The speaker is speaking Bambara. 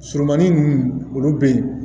Surumani ninnu olu bɛ yen